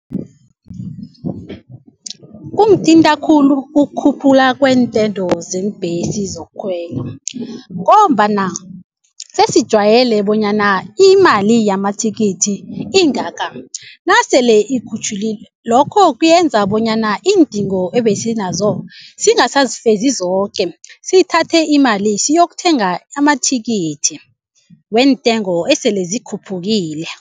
Kungithinta khulu ukukhuphula zeembhesi zokukhwela ngombana sesijwayele bonyana imali yamathikithi ingaka nasele lokho kuyenza bonyana iindingo ebesinazo singasazifezi zoke sithathe imali siyokuthenga amathikithi weentengo esele zikhuphukile.